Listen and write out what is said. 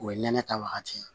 O ye nɛnɛ ta wagati ye